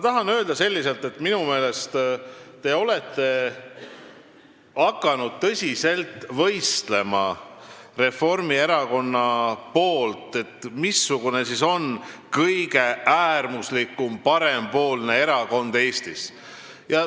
Tahaksin öelda, et minu meelest olete teie ja Reformierakond hakanud tõsiselt võistlema, mis on kõige äärmuslikum parempoolne erakond Eestis.